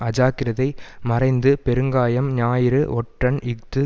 அஜாக்கிரதை மறைந்து பெருங்காயம் ஞாயிறு ஒற்றன் இஃது